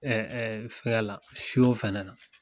Ɛɛ fɛgɛyala son fɛnɛ na